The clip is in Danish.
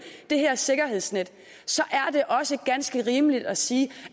det her sikkerhedsnet så er det også ganske rimeligt at sige